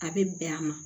A bɛ bɛn a ma